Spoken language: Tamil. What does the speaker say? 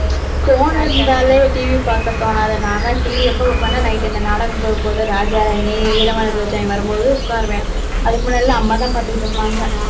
phone இருந்தாலே, TV பார்க்க தோணாது. நான் எல்லாம், TV எப்போ பார்ப்பேன், night இந்த நாடகம் போகும்போது, ராஜா ராணி, ஈரமான ரோஜாவே வரும்போது உட்காருவேன். அதுக்கு முன்னாடி அம்மா தான் பாத்துகிட்டு இருப்பாங்க